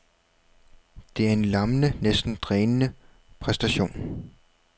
Det er en lammende, næsten drænende præstation.